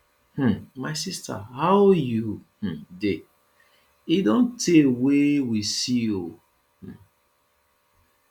um my sister how you um dey e don tey wey we see oo um